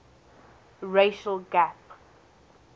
racial gap